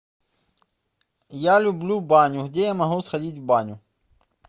я люблю баню где я могу сходить в баню